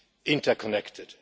interconnected.